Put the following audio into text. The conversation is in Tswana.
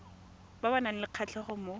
ba nang le kgatlhego mo